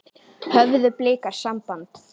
Höfðu Blikar samband?